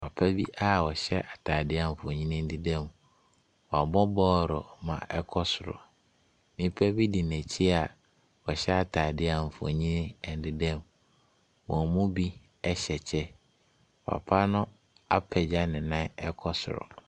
Papa bi a ɔhyɛ atadeɛ a mfonin deda mu. Wabɔ bɔɔlo ama no kɔ soro. Nnipa bi di n'akyi a ɔhyɛ atadeɛ a mfonin deda mu. Wɔn mu bi hyɛ kyɛ. Papa no apagya ne nan kɔ soro.